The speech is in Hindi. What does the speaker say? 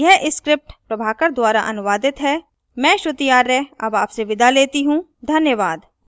धन्यवाद